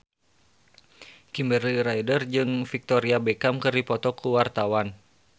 Kimberly Ryder jeung Victoria Beckham keur dipoto ku wartawan